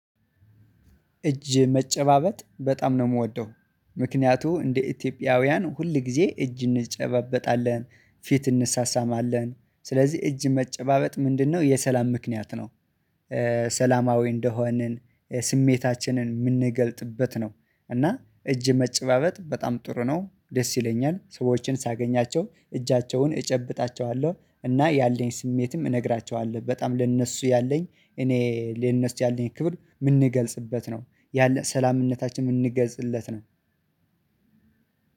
እጅ መጨባበጥ በጣም ነው የምወደው። ምክንያቱም እንደ ኢትዮጵያውያን ሁል ጊዜ እጅ እንጨባበጣለን ፊት እንሳሳማለን ስለዚህ እጅ መጨባበጥ ምንድነው የሰላም ምክንያት ነው? ሰላማዊ እንደሆንን ስሜታችንን የምንገልጽበት ነው። እና እጅ መጨባበጥ በጣም ጥሩ ነው ደስ ይለኛል ሰዎችን ሳገኛቸው እጃቸውን እጨብጣቸዋለሁ። እና ያለኝ ስሜትም እነግራቸዋለሁ በጣም ለእነሱ ያለኝ እኔ ለእነሱ ያለኝ ክብር የምንገልጽበት ነው ያለ ሰላምነታችን የምንገልጽለት ነው።